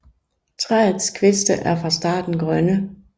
Træets kviste er fra starten grønne